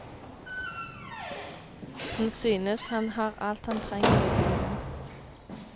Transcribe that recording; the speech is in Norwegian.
Han synes han har alt han trenger i bilen.